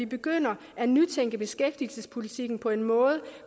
begynder at nytænke beskæftigelsespolitikken på en måde